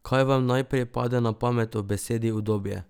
Kaj vam najprej pade na pamet ob besedi udobje?